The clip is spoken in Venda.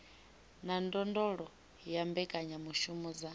na ndondolo ya mbekanyamushumo dza